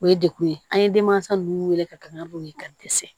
O ye dekun ye an ye denmansa ninnu wele ka ganaw ye ka dɛsɛ